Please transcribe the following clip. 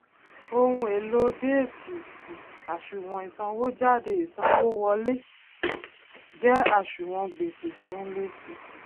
ohùn èlò déétì um àṣùwòn ìsànwójáde ìsanwówọlé um jẹ àṣùwòn gbèsè tí ó ń lé si